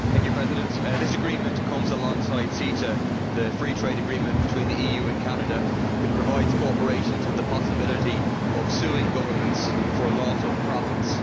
Mr President, this agreement comes alongside CETA, the free trade agreement between the EU and Canada, which provides corporations with the possibility of suing governments for loss of profits.